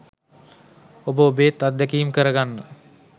ඔබ ඔබේත් අත්දැකීම කරගන්න